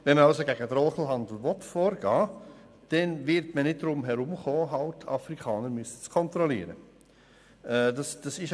Wenn man also gegen den Drogenhandel vorgehen will, kommt man nicht darum herum, Afrikaner kontrollieren zu müssen.